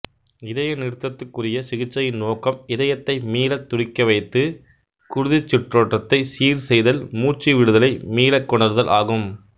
இதய நிறுத்தத்துக்குரிய சிகிச்சையின் நோக்கம் இதயத்தை மீளத் துடிக்கவைத்து குருதிச் சுற்றோட்டத்தைச் சீர் செய்தல் மூச்சுவிடுதலை மீளக் கொணருதல் ஆகும்